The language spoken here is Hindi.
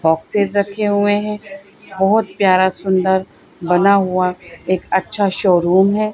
बॉक्सेस रखे हुए है बहोत प्यारा सुंदर बना हुआ एक अच्छा शोरूम है।